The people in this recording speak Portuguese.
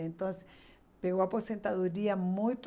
Então assim, assim pegou a aposentadoria muito...